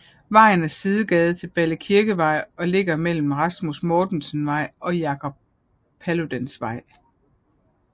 Vejen er sidegade til Balle Kirkevej og ligger mellem Rasmus Mortensens Vej og Jacob Paludans Vej